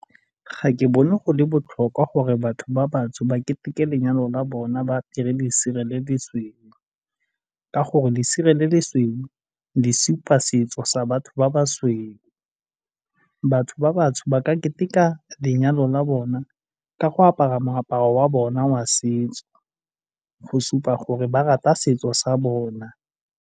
Ga ke bone go le botlhokwa gore batho ba batsho ba ketekete lenyalo la bona ba apere lesela le le sweu ka gore lesela le le sweu le supa setso sa batho ba ba sweu. Batho ba batsho ba ka keteka lenyalo la bona ka go apara moaparo wa bona wa setso go supa gore ba rata setso sa bona.